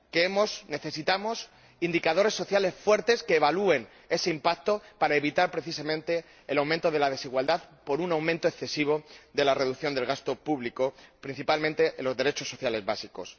Que necesitamos indicadores sociales fuertes que evalúen ese impacto, para evitar, precisamente, el aumento de la desigualdad por un aumento excesivo de la reducción del gasto público, principalmente en los derechos sociales básicos.